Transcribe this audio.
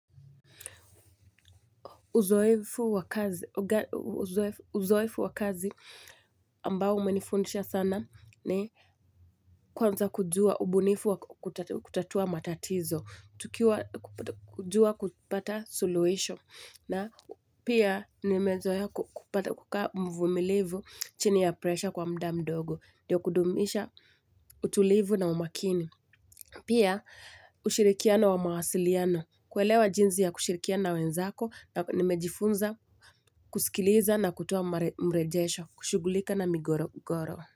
Uzoefu wa kazi ambao umenifundisha sana ni kwanza kujua, ubunifu wa kutatua matatizo, kujua kupata suluhisho, na pia nimezoea kupata kukaa mvumilivu chini ya presha kwa muda mdogo, ndiyo kudumisha utulivu na umakini. Pia, ushirikiano wa mawasiliano. Kuelewa jinsi ya kushirikiana na wenzako, nimejifunza kusikiliza na kutoa mrejesho, kushughulika na migogoro.